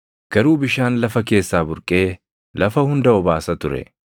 Garuu bishaan lafa keessaa burqee lafa hunda obaasa ture.